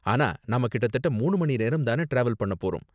ஆனா நாம கிட்டதட்ட மூணு மணி நேரம் தான டிராவல் பண்ண போறோம்.